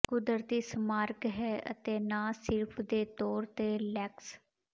ਕੁਦਰਤੀ ਸਮਾਰਕ ਹੈ ਅਤੇ ਨਾ ਸਿਰਫ ਦੇ ਤੌਰ ਤੇ ਲੇਕ੍ਸ